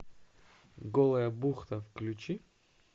голая бухта включи